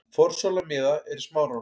Forsala miða er í Smáranum.